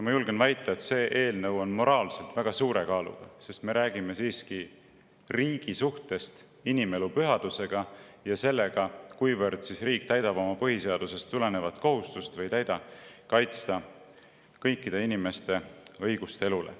Ma julgen väita, et see eelnõu on moraalselt väga suure kaaluga, sest me räägime siiski riigi inimelu pühadusse ja sellest, kuivõrd riik täidab põhiseadusest tulenevat kohustust – või ei täida – kaitsta kõikide inimeste õigust elule.